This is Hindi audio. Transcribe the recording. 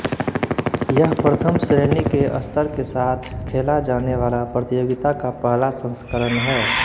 यह प्रथम श्रेणी के स्तर के साथ खेला जाने वाला प्रतियोगिता का पहला संस्करण है